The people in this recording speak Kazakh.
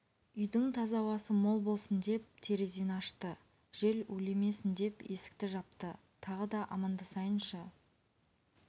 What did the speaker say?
үйдің таза ауасы мол болсын деп терезені ашты жел улемесін деп есікті жапты тағы да амандасайыншы